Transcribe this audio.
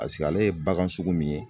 Paseke ale ye bagan sugu min ye